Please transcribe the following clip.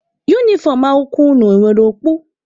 Unifọm akwụkwọ unu e nwere okpu?